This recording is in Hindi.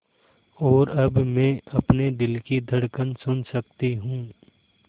और अब मैं अपने दिल की धड़कन सुन सकती हूँ